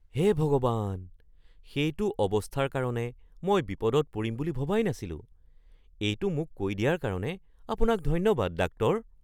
হে ভগৱান! সেইটো অৱস্থাৰ কাৰণে মই বিপদত পৰিম বুলি ভবাই নাছিলোঁ। এইটো মোক কৈ দিয়াৰ কাৰণে আপোনাক ধন্যবাদ, ডাক্তৰ।